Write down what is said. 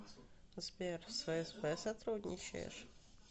сбер с фсб сотрудничаешь